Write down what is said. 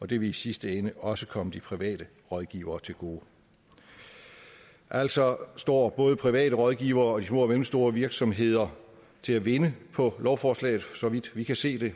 og det vil i sidste ende også komme de private rådgivere til gode altså står både private rådgivere og de små og mellemstore virksomheder til at vinde på lovforslaget så vidt vi kan se det